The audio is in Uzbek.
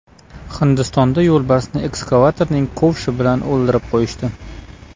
Hindistonda yo‘lbarsni ekskavatorning kovshi bilan o‘ldirib qo‘yishdi.